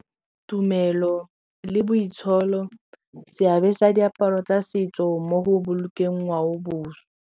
Tumelo le boitsholo seabe sa diaparo tsa setso mo go bolokeng ngwaoboswa.